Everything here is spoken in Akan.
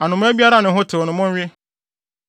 Anomaa biara a ne ho tew no, monwe.